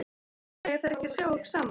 Mega þeir ekki sjá okkur saman?